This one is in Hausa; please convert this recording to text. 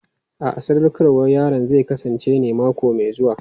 A'a, sadaukarwar yaron zai kasance mako mai zuwa.